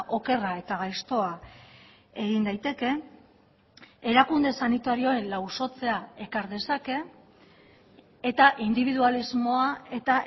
okerra eta gaiztoa egin daiteke erakunde sanitarioen lausotzea ekar dezake eta indibidualismoa eta